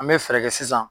An bɛ fɛɛrɛ kɛ sisan